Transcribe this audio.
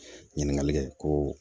Ɲininkali kɛ ko